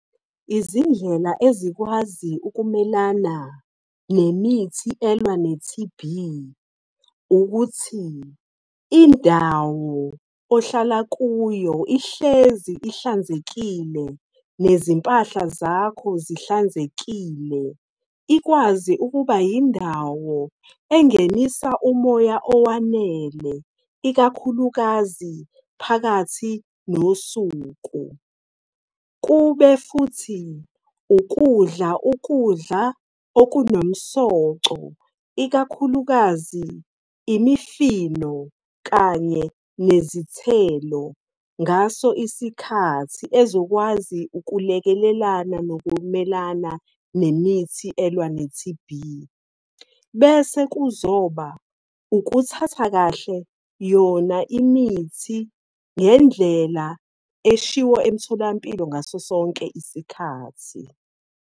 Izindlela ezikwazi ukumelana nemithi elwa ne-T_B ukuthi indawo ohlala kuyo ihlezi ihlanzekile nezimpahla zakho zihlanzekile, ikwazi ukuba yindawo engenisa umoya owanele, ikakhulukazi phakathi nosuku. Kube futhi ukudla, ukudla okunomsoco, ikakhulukazi imifino kanye nezithelo ngaso isikhathi ezokwazi ukulekelelana nokumelana nemithi elwa ne-T_B. Bese kuzoba ukuthatha kahle yona imithi ngendlela eshiwo emtholampilo ngaso sonke isikhathi.